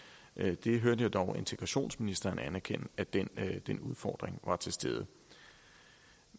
det hørte jeg dog integrationsministeren anerkende at den udfordring var til stede